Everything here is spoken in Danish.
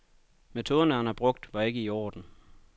Metoderne, han havde brugt, var ikke i orden.